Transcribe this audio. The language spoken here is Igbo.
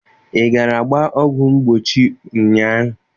Ị gara gbaa ọgwụ mgbochi ụnyaahụ?